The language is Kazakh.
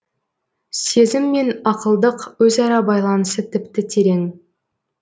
сезім мен ақылдық өзара байланысы тіпті терең